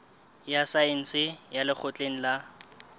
ya saense ya lekgotleng la